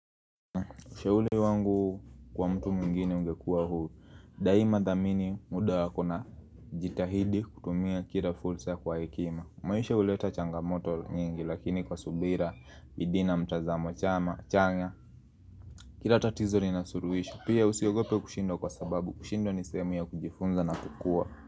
Ushauri wangu kwa mtu mwingine ungekuwa huu Daima dhamini muda yako na jitahidi kutumia kila fursa kwa hekima. Maisha huleta changamoto nyingi lakini kwa subira bidii na mtazamo chanya Kila tatizo lina suluhisho. Pia usiogope kushindwa kwa sababu kushindwa ni sahemu ya kujifunza na kukua.